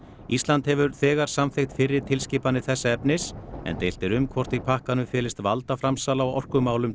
ísland hefur þegar samþykkt fyrri tilskipanir þessa efnis en deilt er um hvort í pakkanum felist valdaframsal á orkumálum